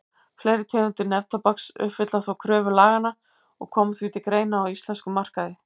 Fleiri tegundir neftóbaks uppfylla þó kröfur laganna og koma því til greina á íslenskum markaði.